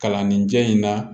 Kalanden jɛ in na